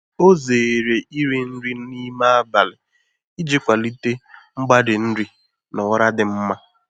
Ọ zere iri nri n’ime abalị iji kwalite mgbari nri na ụra dị mma.